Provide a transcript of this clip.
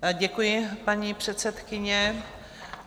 Děkuji, paní předsedkyně.